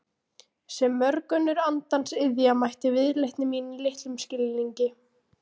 Sem mörg önnur andans iðja mætti viðleitni mín litlum skilningi.